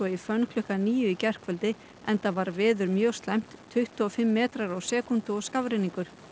í fönn klukkan níu í gærkvöldi enda var veður mjög slæmt tuttugu og fimm metrar á sekúndu og skafrenningur